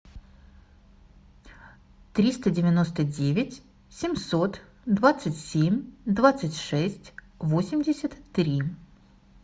триста девяносто девять семьсот двадцать семь двадцать шесть восемьдесят три